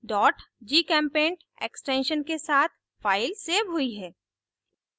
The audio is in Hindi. gchempaint extension के साथ file सेव हुई है